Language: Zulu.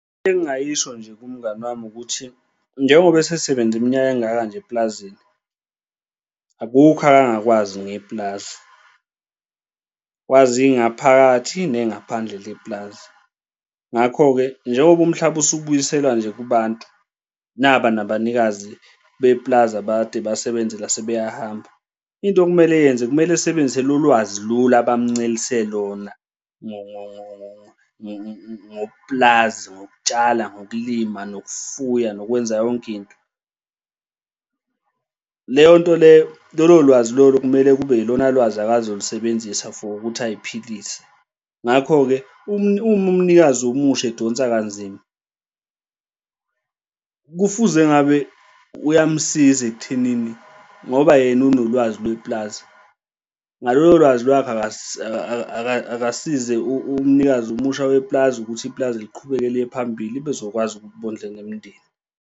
Into engingayisho nje kumngani wami ukuthi, njengoba esesebenze iminyaka engaka nje eplazini akukho akangakwazi ngepulazi. Wazi ingaphakathi nengaphandle lepulazi. Ngakho-ke njengoba umhlaba usubuyisela nje kubantu naba nabanikazi bepulazi abakade basebenza la sebeyahamba, into okumele eyenze kumele esebenzise lolu lwazi lolu abamuncelise lona ngokupulazi, ngokutshala, ngokulima, nokufuya, nokwenza yonke into. Leyonto leyo, lolo lwazi lolo kumele kube ilona lwazi akazolusebenzisa for ukuthi ay'philise. Ngakho-ke, uma umnikazi omusha edonsa kanzima kufuze ngabe uyamsiza ekuthenini ngoba yena unolwazi lepulazi ngalolo lwazi lwakhe, akasize umnikazi omusha wepulazi ukuthi ipulazi liqhubeke liye phambili bezokwazi ukuthi bondle nemndeni.